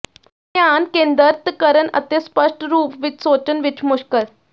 ਧਿਆਨ ਕੇਂਦਰਤ ਕਰਨ ਅਤੇ ਸਪਸ਼ਟ ਰੂਪ ਵਿੱਚ ਸੋਚਣ ਵਿੱਚ ਮੁਸ਼ਕਲ